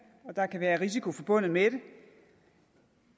og der kan være risiko forbundet med det